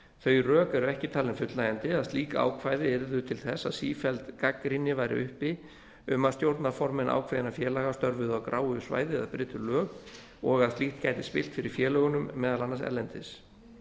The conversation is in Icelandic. þau rök eru ekki talin fullnægjandi að slík ákvæði yrðu til þess að sífelld gagnrýni væri uppi um að stjórnarformenn ákveðinna félaga störfuðu á gráu svæði eða brytu lög og að slíkt gæti spillt fyrir félögunum meðal annars erlendis